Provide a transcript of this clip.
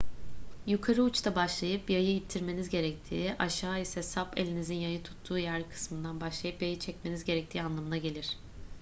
yukarı uçta başlayıp yayı ittirmeniz gerektiği aşağı ise sap elinizin yayı tuttuğu yer kısmından başlayıp yayı çekmeniz gerektiği anlamına gelir